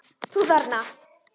Þú þarna.